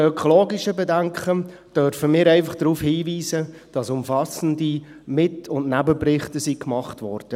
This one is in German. Betreffend die ökologischen Bedenken dürfen wir einfach darauf hinweisen, dass umfassende Mit- und Nebenberichte gemacht wurden.